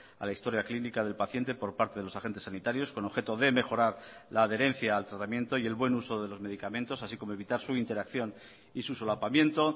a la historia clínica del paciente por parte de los agentes sanitarios con objeto de mejorar la adherencia al tratamiento y el buen uso de los medicamentos así como evitar su interacción y su solapamiento